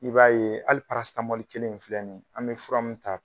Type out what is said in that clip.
I b'a ye hali kelen in filɛ nin an bɛ fura min ta